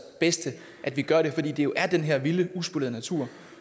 bedste at vi gør det fordi det jo er den her vilde uspolerede natur